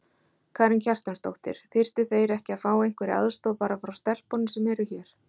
Karen Kjartansdóttir: Þyrftu þeir ekki að fá einhverja aðstoð bara frá stelpunum sem eru hér?